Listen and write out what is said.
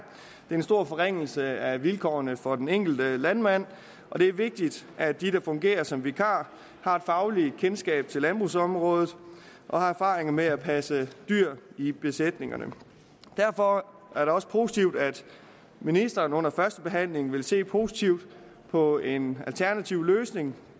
en stor forringelse af vilkårene for den enkelte landmand og det er vigtigt at de der fungerer som vikar har fagligt kendskab til landbrugsområdet og har erfaringer med at passe dyr i besætningerne derfor er det også positivt at ministeren under første behandling ville se positivt på en alternativ løsning